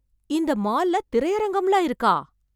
இந்த மால்ல, திரையரங்கம்லாம் இருக்கா...